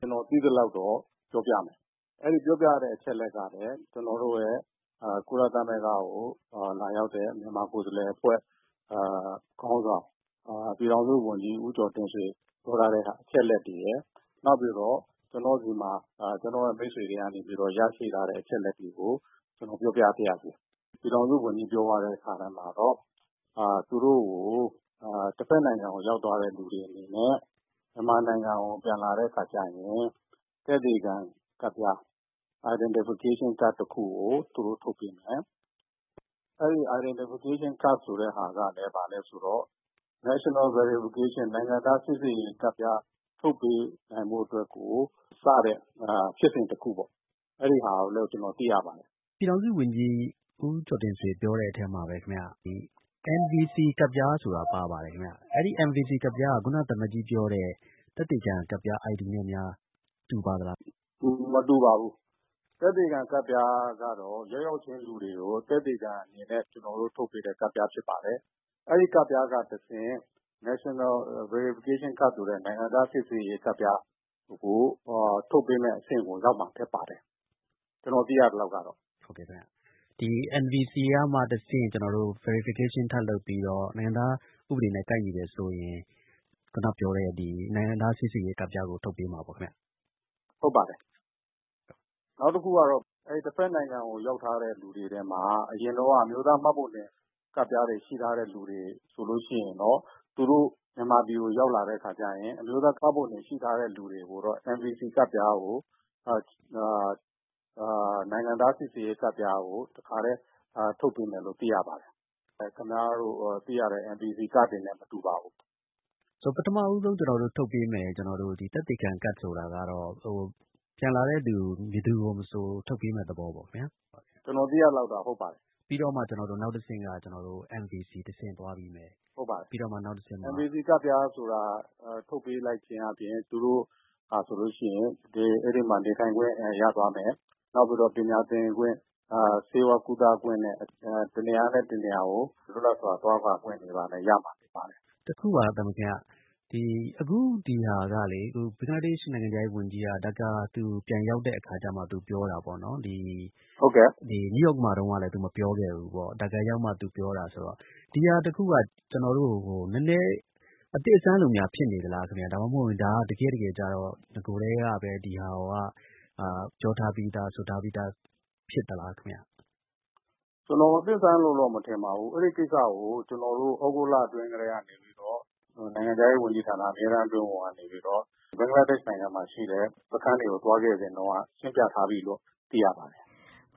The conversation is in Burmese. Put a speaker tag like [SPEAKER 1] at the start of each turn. [SPEAKER 1] ကျနော် သိသလောက်တော့ ပြောပြမယ်။ အဲဒီ ပြောပြရတဲ့ အချက်အလက်ကလည်း ကျနော်တို့ရဲ့ ကုလသမဂ္ဂကို လာရောက်တဲ့ မြန်မာ ကိုယ်စားလှယ် အဖွဲ့ ခေါင်းဆောင် ပြည်ထောင်စု ဝန်ကြီး ဦးကျော်တင့်ဆွေ ပြောထားတဲ့ အချက်အလက်တွေရယ်၊ နောက်ပြီးတော့ ကျနော့်ဆီမှာ ကျနော့်ရဲ့ မိတ်ဆွေတွေကနေ ပြီးတော့ ရရှိထားတဲ့ အချက်အလက် တွေကို ကျနော် ပြောပြပါရစေ။ ပြည်ထောင်စု ဝန်ကြီး ပြောသွားတဲ့ အထဲမှာတော့ သူတို့ကို တဖက်နိုင်ငံကို ရောက်သွားတဲ့သူတွေ အနေနဲ့ မြန်မာနိုင်ငံကို ပြန်လာတဲ့ အခါကျရင် သက်သေခံ ကတ်ပြား Identification Card တခုကို သူတို့ကို ထုတ်ပေးမယ်။ အဲဒီ Identification Card ဆိုတဲ့ ဟာကလည်း ဘာလဲဆိုတော့ National Verification နိုင်ငံသား စိစစ်ရေး ကတ်ပြား ထုတ်ပေးနိုင်ဖို့ အတွက်ကို စတဲ့ ဖြစ်စဉ် တခုပေါ့။ အဲဒီဟာလို့ ကျနော် သိရပါတယ်။
[SPEAKER 2] ပြည်ထောင်စု ဝန်ကြီး ဦးကျော်တင့်ဆွေ ပြောတဲ့ အထဲမှာလည်း ခင်ဗျ NVC ကတ်ပြားဆိုတာ ပါပါတယ် ခင်ဗျ။ အဲဒီ NVC ကတ်ပြားက ခုန သံအမတ်ကြီး ပြောတဲ့ သက်သေခံ ကတ်ပြား ID နဲ့များ တူပါသလား။
[SPEAKER 1] “ မတူပါဘူး။ သက်သေခံ ကတ်ပြားကတော့ ရောက်ရောက်ချင်း လူတွေကို သက်သေခံ အနေနဲ့ ကျနော်တို့ ထုတ်ပေးတဲ့ ကတ်ပြား ဖြစ်ပါတယ်။ အဲဒီ ကတ်ပြားက တဆင့် National Verification Card ဆိုတဲ့ နိုင်ငံသား စိစစ်ရေး ကတ်ပြားကို ထုတ်ပေးမယ့် အဆင့်ကို ရောက်မှာ ဖြစ်ပါတယ်။ ကျနော် သိရသလောက်ကတော့။ ”
[SPEAKER 2] ဟုတ်ကဲ့ ခင်ဗျ။ ဒီ NVC ကမှ တဆင့် Verification ထပ်လုပ်ပြီးတော့ နိုင်ငံသား ဥပဒေနဲ့ ကိုက်ညီတယ်ဆိုရင် ခုနပြောတဲ့ နိုင်ငံသား စိစစ်ရေး ကတ်ပြားကို ထုတ်ပေးမှာ ပေါ့ခင်ဗျ။
[SPEAKER 1] “ ဟုတ်ပါတယ်။ နောက်တခုကတော့ အဲဒီ တဖက်နိုင်ငံကို ရောက်ထားတဲ့ လူတွေထဲမှာ အရင်တုန်းက အမျိုးသား မှတ်ပုံတင် ကတ်ပြားတွေ ရှိထားတဲ့ လူတွေ ဆိုလို့ ရှိရင်တော့ သူတို့ မြန်မာပြည်ကို ရောက်လာတဲ့ အခါကျရင် အမျိုးသား မှတ်ပုံတင် ရှိထားတဲ့ လူတွေကိုတော့ NVC ကတ်ပြားကို နိုင်ငံသား စိစစ်ရေး ကတ်ပြားကို တခါတည်း ထုတ်ပေးမယ်လို့ သိရပါတယ်။ ခင်ဗျားတို့ သိရတဲ့ NVC ကတ်ပြားတွေနဲ့ မတူပါဘူး။
[SPEAKER 2] ပထမ ဦးဆုံး ကျနော်တို့ ထုတ်ပေးမယ့် ဒီသက်သေခံကတ် ဆိုတာကတော့ ပြန်လာမယ့်သူ ဘယ်သူကို မဆို ထုတ်ပေးမယ့် သဘောပေါ့ ခင်ဗျာ။
[SPEAKER 1] ကျနော် သိရသလောက်က ဟုတ်ပါတယ်။
[SPEAKER 2] ပြီးတော့မှ နောက်တဆင့်က ကျနော်တို့ NVC တဆင့် သွားပြီးတော့ ပြီးတော့မှ နောက်တဆင့်က
[SPEAKER 1] ဟုတ်ပါတယ်။ NVC ကတ်ပြားဆိုတာ ထုတ်ပေးလိုက်ခြင်း အားဖြင့် သူတိုဟာ ဆိုလို့ ရှိရင် အဲဒီမှာ နေထိုင်ခွင့် ရသွားမယ်။ နောက်ပြီးတော့ ပညာသင်ခွင့်၊ ဆေးဝါး ကုသခွင့်နဲ့ တနေရာနဲ့ တနေရာကို လွတ်လပ်စွာ သွားလာခွင့်တွေလည်း ရမှာ ဖြစ်ပါတယ်။
[SPEAKER 2] တခုက သံအမတ်ကြီး ခင်ဗျ။ အခု ဒီဟာကလေ ဘင်္ဂလားဒေရှ့် နိုင်ငံခြားရေး ဝန်ကြီးက ဒါကာ သူပြန်ရောက်တဲ့ အခါမှ သူပြောတာ ပေါ့နော်။ ဒီ နယူးယောက်မှာ တုန်းကလည်း သူ မပြောခဲ့ဘူးပေါ့။ ဒါကာ ရောက်မှ သူပြောတာ ဆိုတော့ ဒီဟာ တခုက ကျနော်တို့ နည်းနည်း အသစ်အဆန်းလိုများ ဖြစ်နေသလား ခင်ဗျ။ ဒါမှမဟုတ်ရင် ဒါက တကယ့်တကယ်ကျတော့ နဂိုထဲက ဒီဟာက ပြောထားပြီးသား ဆိုထားပြီးသား ဖြစ်သလား ခင်ဗျ။
[SPEAKER 1] ကျနော် အသစ်အဆန်းလို့တော့ မထင်ပါဘူး။ အဲဒီ ကိစ္စကို ကျနော်တို့ သြဂုတ်လ အတွင်းကတည်းက နေပြီးတော့ နိုင်ငံခြားရေး ဝန်ကြီးဌာန အမြဲတမ်း အတွင်းဝန်ကနေပြီးတော့ ဘင်္ဂလားဒေရှ့် နိုင်ငံမှာ ရှိတဲ့ စခန်းတွေကို သွားခဲ့စဉ်တုန်းက ရှင်းပြထားပြီးလို့ သိရပါတယ်။